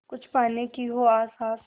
कुछ पाने की हो आस आस